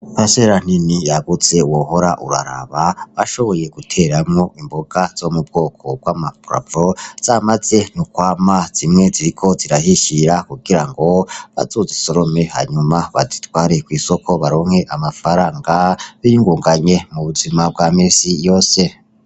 Parisera nini yagutse wohora uraraba bashoboye guteramwo imboga zo mu bwoko bw'ama pravo zamaze no kwama , zimwe ziriko zirahishira kugira ngo bazozisorome hanyuma bazitware kw'isoko baronke amafaranga biyingunganye mu buzima bwa misi yose.